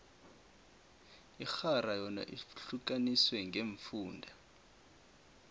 inarha yona ihlukaniswe ngeemfunda